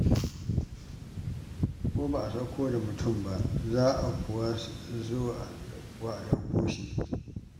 Ko ba a sauko da mutum ba, za kuwa zuwa a ɗauko ɗauko shi.